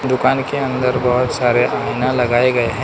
दुकान के अंदर बहोत सारे आइना लगाए गए हैं।